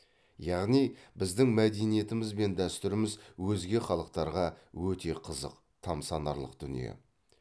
яғни біздің мәдениетіміз бен дәстүріміз өзге халықтарға өте қызық тамсанарлық дүние